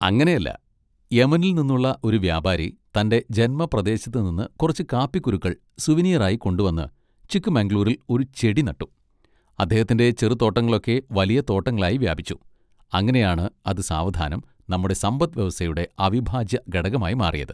അങ്ങനെ അല്ല! യെമനിൽ നിന്നുള്ള ഒരു വ്യാപാരി തൻ്റെ ജന്മപ്രദേശത്ത് നിന്ന് കുറച്ച് കാപ്പിക്കുരുക്കൾ സുവനീർ ആയി കൊണ്ടുവന്ന് ചിക്ക് മംഗ്ലൂരിൽ ഒരു ചെടി നട്ടു, അദ്ദേഹത്തിൻ്റെ ചെറുതോട്ടങ്ങളൊക്കെ വലിയ തോട്ടങ്ങളായി വ്യാപിച്ചു, അങ്ങനെയാണ് അത് സാവധാനം നമ്മുടെ സമ്പത്ത് വ്യവസ്ഥയുടെ അവിഭാജ്യ ഘടകമായി മാറിയത്.